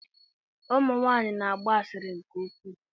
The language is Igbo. Ụmụ nwanyị na-agba asịrị nke ukwu.